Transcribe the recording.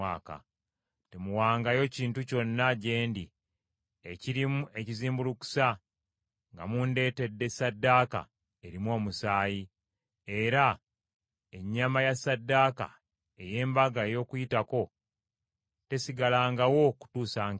“Temuwangayo kintu kyonna gye ndi ekirimu ekizimbulukusa nga mundeetedde ssaddaaka erimu omusaayi; era ennyama ya ssaddaaka ey’Embaga y’Okuyitako tesigalangawo kutuusa nkeera.